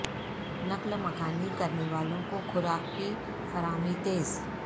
نقل مکانی کرنے والوں کو خوراک کی فراہمی تیز